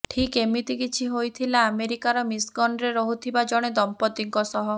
ଠିକ୍ ଏମିତି କିଛି ହୋଇଥିଲା ଆମେରିକାର ମିଶିଗନ୍ରେ ରହୁଥିବା ଜଣେ ଦମ୍ପତିିଙ୍କ ସହ